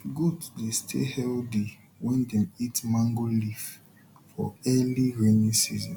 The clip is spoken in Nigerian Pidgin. goat dey stay healthy when dem eat mango leaf for early rainy season